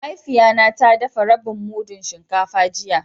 Mahaifiya na ta dafa rabin mudun shinkafa jiya.